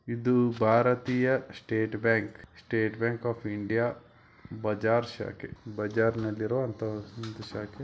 ಇದು ಭಾರತೀಯ State Bank State Bank of India ಬಜಾರ್ ಶಾಖೆ ಬಜಾಜ್ನಲ್ಲಿರೋ ಒಂದು ಶಾಖೆ .